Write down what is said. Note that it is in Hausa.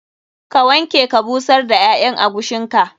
Ka wanke ka busar da ƴaƴan agushin ka.